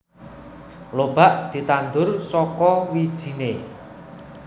Lobak ditandur saka wijine